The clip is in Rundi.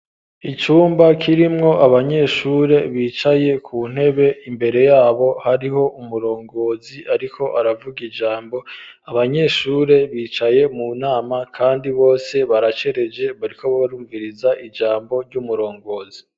Icumba kirimwo abanyeshure bicaye ku ntebe, imbere yabo hariho umurongozi ariko aravuga ijambo, abanyeshure bicaye mu nama kandi bose baracereje bariko barumviriza ijambo ry'umurongozi.